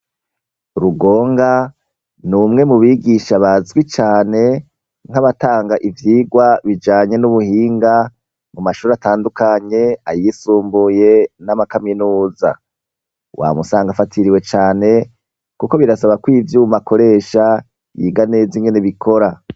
Rugonga, n'umwe mu bigisha bazwi cane nk'abatanga ivyigwa bijanye n'ubuhinga mu mashuri atandukanye, ayisumbuye n'amakaminuza. Wama usanga afatiriwe cane, kuko birasaba ko ivyuma akoresha, yiga neza ingene bikora.